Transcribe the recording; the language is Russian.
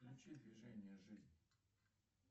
включи движение жизнь